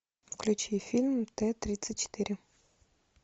включи фильм т тридцать четыре